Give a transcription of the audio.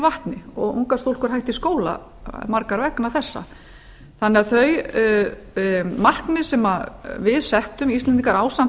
vatni og ungar stúlkur hætta í skóla margar vegna þessa þau markmið sem við íslendingar settum ásamt